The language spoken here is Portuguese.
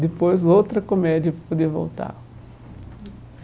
Depois, outra comédia para poder voltar.